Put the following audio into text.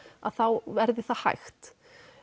að þá verði það hægt